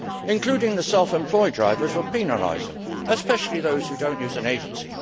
Including the self employed drivers will penalise them, especially those who do not use an agency.